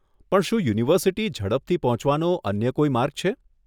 પણ શું યુનિવર્સીટી ઝડપથી પહોંચવાનો અન્ય કોઈ માર્ગ છે?